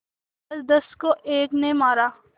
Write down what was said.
दसदस को एक ने मारा